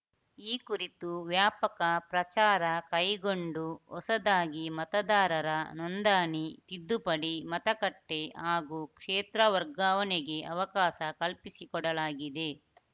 ಈ ಕುರಿತು ವ್ಯಾಪಕ ಪ್ರಚಾರ ಕೈಗೊಂಡು ಹೊಸದಾಗಿ ಮತದಾರರ ನೊಂದಣಿ ತಿದ್ದುಪಡಿ ಮತಗಟ್ಟೆಹಾಗೂ ಕ್ಷೇತ್ರ ವರ್ಗಾವಣೆಗೆ ಅವಕಾಶ ಕಲ್ಪಿಸಿಕೊಡಲಾಗಿದೆ